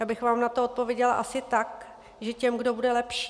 Já bych vám na to odpověděla asi tak, že těm, kdo bude lepší.